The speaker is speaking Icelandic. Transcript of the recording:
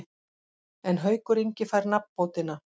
En Haukur Ingi fær nafnbótina.